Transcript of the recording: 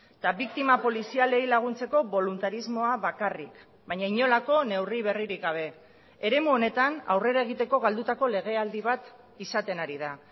eta biktima polizialei laguntzeko boluntarismoa bakarrik baina inolako neurri berririk gabe eremu honetan aurrera egiteko galdutako legealdi bat izaten ari da